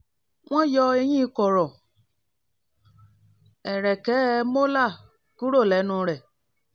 wọ́n yọ eyín kọ̀rọ̀ ẹ̀rẹ̀kẹ́ ́ (molar) kúrò lẹ́nu rẹ̀